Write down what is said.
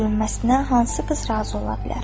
Mənim nəsillə hansı qız razı ola bilər?